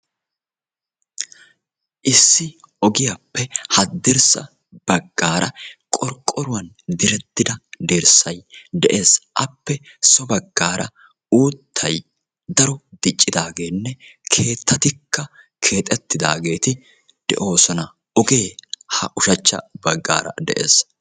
issi ogiyappe hadirssa bagarra qorqoruwani diretida dirssay dessi appe so bagara uuttay daro diccidagenne keettatikka keexetidagetti doossona ogekka ushsachca bagara dessi.